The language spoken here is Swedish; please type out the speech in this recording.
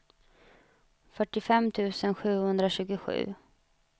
fyrtiofem tusen sjuhundratjugosju